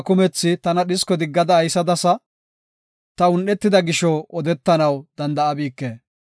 Qamma kumethi tana dhisko diggada aysadasa; ta un7etida gisho odetanaw danda7abike.